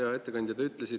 Hea ettekandja!